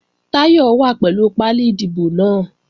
Táyọ̀ wà pẹ̀lú pálí ìdìbò náà